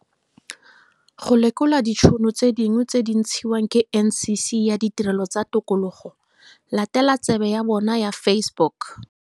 Go lekola ditšhono tse dingwe tse di ntshiwang ke NCC ya Ditirelo tsa Tikologo, latela tsebe ya bona ya Facebook.